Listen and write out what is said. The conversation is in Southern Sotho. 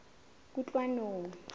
kutlwanong